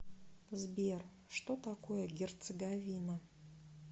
сбер что такое герцеговина